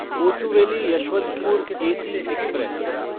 Kochuveli Yesvantpur AC express